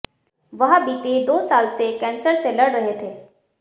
वह बीते दो साल से कैंसर से लड़ रहे थे